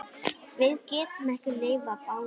Við getum ekki lifað báðum.